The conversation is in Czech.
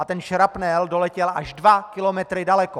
A ten šrapnel doletěl až dva kilometry daleko!